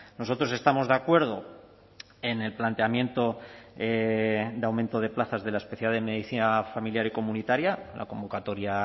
nosotros estamos de acuerdo en el planteamiento de aumento de plazas de la especialidad de medicina familiar y comunitaria la convocatoria